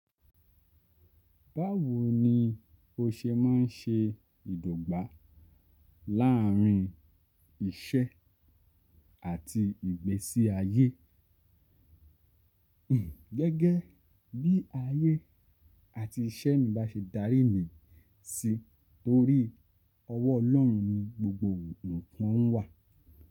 Báwo ni o ṣe máa ń ṣe ìdọ̀gbà láàárín iṣẹ́ àti ìgbésí ayé? Gẹ́gẹ́ bí ayé àti iṣẹ́ mi bá ṣe darí mi sí torí ọwọ́ Ọlọ́run ni gbogbo nǹkan wà.